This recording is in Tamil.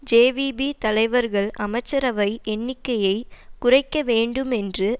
ஜேவிபி தலைவர்கள் அமைச்சரவை எண்ணிக்கையை குறைக்க வேண்டும் என்று